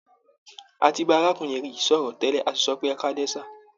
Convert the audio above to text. A ti bá arákùnrin yìí sọ̀rọ̀ tẹ́lẹ̀, a sì sọ pé "ẹkáalẹ́ sà".